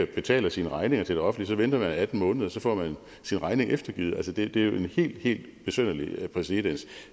betaler sine regninger til det offentlige venter man atten måneder og så får man sin regning eftergivet det er en helt helt besynderlig præcedens